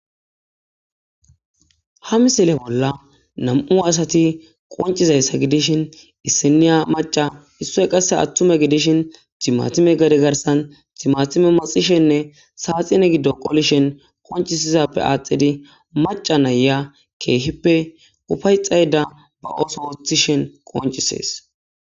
ha misile bolla nam7u asati qoncizayssa gidishin issiniya maca issoy qasse attume gidishin timatime gadi garsan timatime maxishenne saaxine giddo qolishen qoncisizappe aaxidi maca naya keehippe ufay xayda ba oso wothishen qoncisees